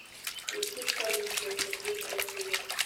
включи столичная сергей трофимов